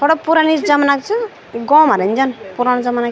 थोडा पुरानी जमना की च गों मा रेन जन पूरण जमना की।